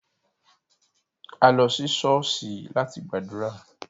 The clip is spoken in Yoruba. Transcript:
A lo si ṣọ̀ọ́sì lati gbadura.